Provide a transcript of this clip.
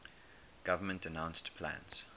government announced plans